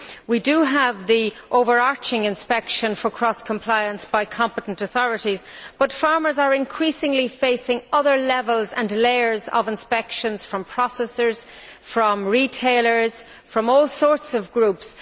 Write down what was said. We have the overarching inspection for cross compliance by competent authorities, but farmers are increasingly facing other levels and layers of inspections from processors, from retailers, from all sorts of groups